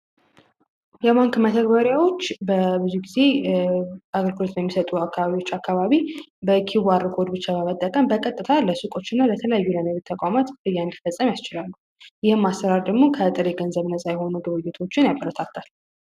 የባንክ መተግበሪያዎች በብዙ ጊዜ አግሪኮርት በሚሰጡ አካባቢዎች አካባቢ በኪቡ አርኮድ ብቻ በመጠቀን በቀጥታ ለስቆች እና ለተለዩ ለንግት ተቋማት ብያን ፈጸም ያስችራሉ ። ይህም አስራር ድሞ ከእጥር የገንዘብ ነፃ የሆኑ ግብዩቶችን ያበረታታል።